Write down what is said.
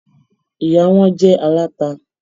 Ìyá wọn jẹ́ aláta.